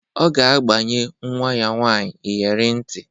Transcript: Ọ ga-agbanye nwa ya nwaanyị iyere ntị.